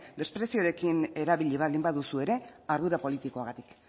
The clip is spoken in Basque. despreziorekin erabili baldin baduzu ere ardura politikoagatik